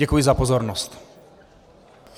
Děkuji za pozornost.